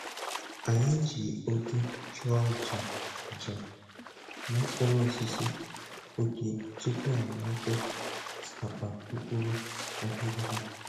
Anyị ji ọjị chụọ aja aja n'okpuru osisi ọjị tupu e mepe akpa mkpụrụ aghịrịgha